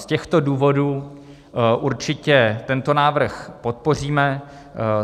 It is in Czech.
Z těchto důvodů určitě tento návrh podpoříme.